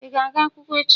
Ị ga-aga akwụkwọ echi?